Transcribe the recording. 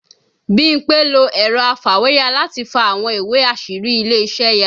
Bímpé lo ẹ̀rọ afàwéya láti fa àwọn ìwé àṣírí ilé iṣẹ́ ya